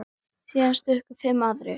Síðan stukku fimm aðrir.